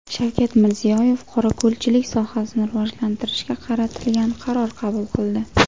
Shavkat Mirziyoyev qorako‘lchilik sohasini rivojlantirishga qaratilgan qaror qabul qildi.